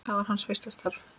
Það var hans fyrsta starf.